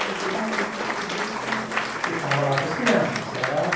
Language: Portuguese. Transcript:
Mas todo momento que você podia, você... Eu estava lá com as crianças. Era